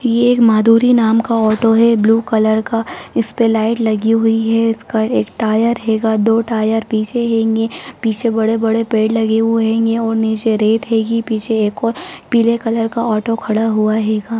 ये एक माधुरीनाम का ऑटो है ब्लू कलर का| इसपे लाइट लगी हुई है| इसका एक टायर हेगा दो टायर पीछे हेंगे| पीछे बड़े-बड़े पेड़ लगे हुए हेंगे और नीचे रेत हेगी| पीछे एक और पीले कलर का ऑटो खड़ा हुआ हेगा |